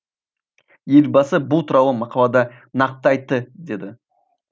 елбасы бұл туралы мақалада нақты айтты деді